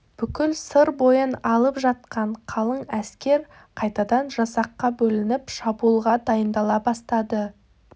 бүкіл сыр бойын алып жатқан қалың әскер қайтадан жасаққа бөлініп шабуылға дайындала бастады